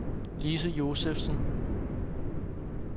Lise Josefsen